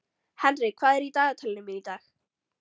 Henrik, hvað er í dagatalinu mínu í dag?